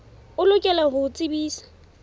o lokela ho o tsebisa